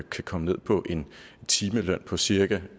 komme ned på en timeløn på cirka